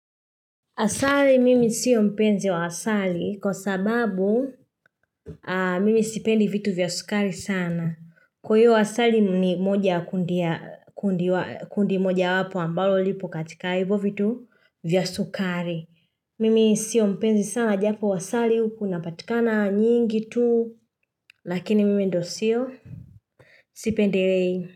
Asali mimi siyo mpenzi wa asali kwa sababu mimi sipendi vitu vya sukari sana. Kwa hiyo asali ni moja kundi moja wapo ambalo lipo katika hivyo vitu vya sukari. Mimi siyo mpenzi sana japo wa asali huku napatikana nyingi tu lakini mimi ndo siyo sipendelei.